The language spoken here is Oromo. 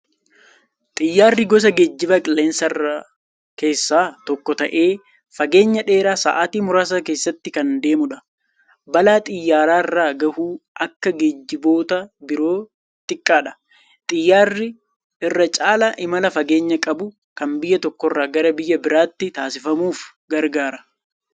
Xiyyaarri gosa geejjiba qilleensarraa keessaa tokko ta'ee, fageenya dheeraa sa'aatii muraasatti kan deemudha. Balaa xiyyaararra gahu akka geejjiboota biroo xiqqaadha. Xiyyaarri irra caala imala fageenya qabu, kan biyya tokkorra gara biyya biraatti taasifamuuf gargaara.